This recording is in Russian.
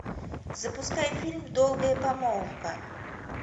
запускай фильм долгая помолвка